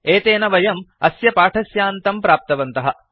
एतेन वयम् अस्य पाठस्यान्तं प्राप्तवन्तः